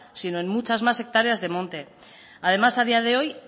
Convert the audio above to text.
sino en muchas más hectáreas de monte además a día de hoy